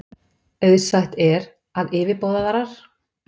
Auðsætt er, að yfirboðarar